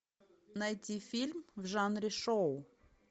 найти фильм в жанре шоу